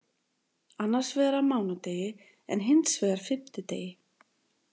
Annars vegar á mánudegi en hins vegar fimmtudegi.